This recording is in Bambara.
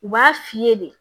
U b'a f'i ye de